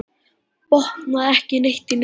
Botnaði ekki neitt í neinu.